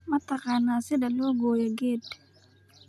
Ma taqaan sida loo gooyo geed?